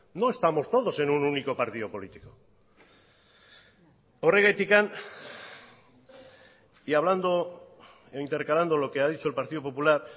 no estamos todos en un único partido político horregatik y hablando e intercalando lo que ha dicho el partido popular